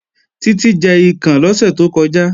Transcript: Títí ń jẹ ikàn lọ́sẹ̀ tó kọjá